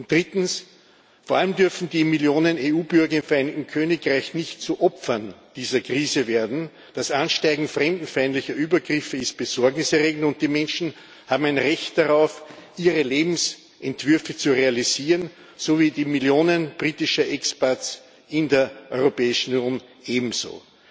Drittens Vor allem dürfen die Millionen EU Bürger im Vereinigten Königreich nicht zu Opfern dieser Krise werden, das Ansteigen fremdenfeindlicher Übergriffe ist besorgniserregend, und die Menschen haben ein Recht darauf, ihre Lebensentwürfe zu realisieren, so wie die Millionen britischer Expats in der Europäischen Union ebenso.